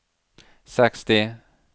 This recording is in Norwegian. seksti